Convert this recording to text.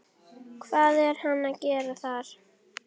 Hvað er hann að gera þar?